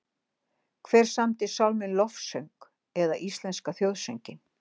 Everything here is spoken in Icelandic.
Hver samdi sálminn Lofsöng eða íslenska þjóðsönginn?